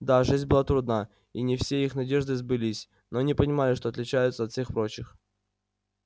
да жизнь была трудна и не все их надежды сбылись но они понимали что отличаются от всех прочих